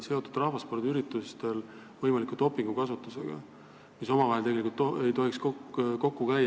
See on seotud võimaliku dopingukasutusega rahvaspordiüritustel, mis ei tohiks tegelikult omavahel kokku käia.